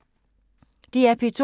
DR P2